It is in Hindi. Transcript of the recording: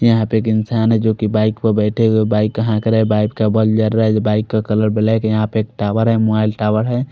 यहाँ पर एक इंसान है जो की बाइक पर बेठे हुए बाइक का खड़ ह बाइक का कलर ब्लैक है यहाँ पर एक टावर है मोबाइल टावर --